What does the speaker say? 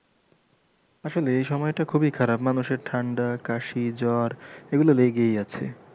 আসলে এই সময়টা খুবই খারাপ মানুষের ঠাণ্ডা কাশি জ্বর এগুলো লেগেই আছে।